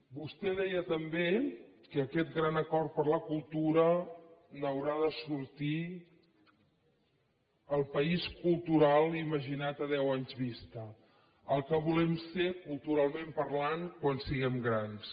vostè deia també que d’aquest gran acord per la cultura n’haurà de sortir el país cultural imaginat a deu anys vista el que volem ser culturalment parlant quan siguem grans